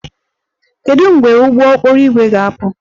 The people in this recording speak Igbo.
Kedu mgbe ụgbọ okporo ígwè ga-apụ?